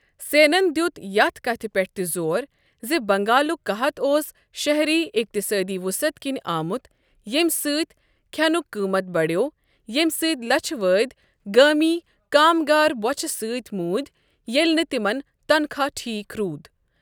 سینن دِیت یتھ كتھ پٮ۪ٹھ تہِ زور زِ بنگالُک قحط اوس شٔۂری اقتصٲدی وصعت كِنہِ آمت ییٚمہ سۭتۍ كھینُک قٕمت بڈِیٛوو، ییٚمہِ سٕتۍ لچھہٕ وادٕ گٲمی كامگار بۄچھِک سٕتۍ موٗدۍ ییٚلہِ نہٕ تِمن تنخواہ ٹھیٖک روٗد۔